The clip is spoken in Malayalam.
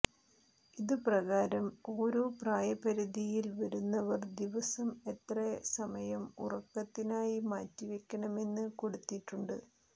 ഇതു പ്രകാരം ഓരോ പ്രായ പരിധിയിൽ വരുന്നവർ ദിവസം എത്ര സമയം ഉറക്കത്തിനായി മാറ്റിവയ്ക്കണമെന്ന് കൊടുത്തിട്ടുണ്ട്